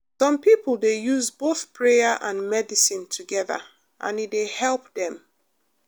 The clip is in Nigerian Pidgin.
some people dey use both prayer and medicine together and e dey help dem.